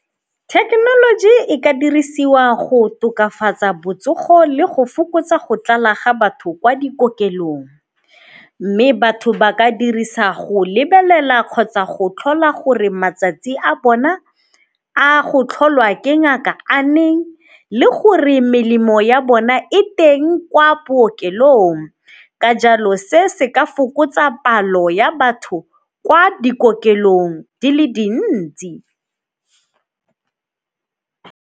Thekenoloji e ka dirisiwa go tokafatsa botsogo le go fokotsa go tlala ga batho kwa dikokelong, mme batho ba ka dirisa go lebelela kgotsa go tlhola gore matsatsi a bona a go tlholwa ke ngaka a neng le gore melemo ya bona e teng kwa bookelong. Ka jalo se se ka fokotsa palo ya batho kwa dikokelong di le dintsi.